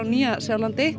Nýja Sjálandi